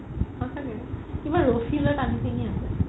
কিবা ৰচি লই তানি চিঙি আছে